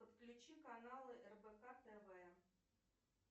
подключи каналы рбк тв